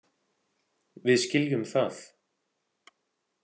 Við skiljum það.